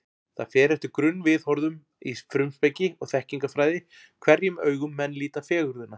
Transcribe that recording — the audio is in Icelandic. Það fer eftir grunnviðhorfum í frumspeki og þekkingarfræði, hverjum augum menn líta fegurðina.